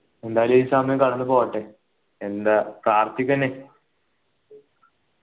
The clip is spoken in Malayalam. എന്തായാലും ഈ സമയം കടന്ന് പോട്ടെ എന്താ പ്രാർത്ഥിക്കന്നെ